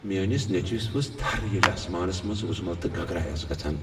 میٲنس نیچوِس ؤژھ تھر ییلِہ آسمانس منٛز وٕزمل تہٕ گگراے آسہٕ گژھان۔